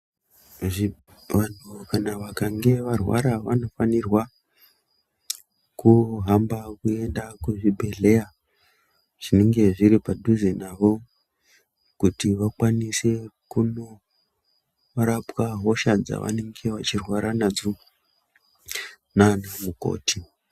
Vantu vakange varwara vanofanirwa kuhamba kuenda kuzvibhedhlera zvinenge zviri padhuze navo kuti vakwanise kunorapwa hosha dzavanenge vachirwara nadzo nana mukoti.